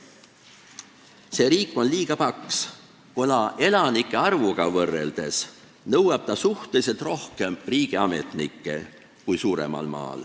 See riik on liiga paks, kuna elanike arvuga võrreldes nõuab ta suhteliselt rohkem riigiametnikke kui suurem maa.